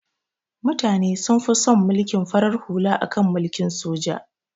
Mutane sun fi son mulkin farar hula akan mulkin soja